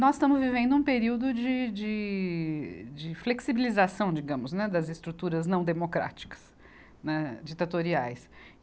Nós estamos vivendo um período de, de, de flexibilização, digamos, né, das estruturas não democráticas, né, ditatoriais.